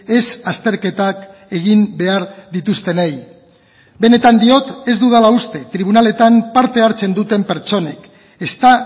ez azterketak egin behar dituztenei benetan diot ez dudala uste tribunaletan parte hartzen duten pertsonek ezta